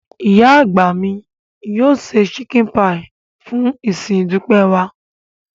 Ìyá àgbà mi yóò se chicken pie fún ìsìn ìdúpẹ́ wa.